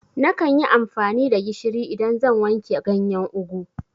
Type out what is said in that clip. Nakan yi amfani da gishiri idan zan wanke ganyen ugwu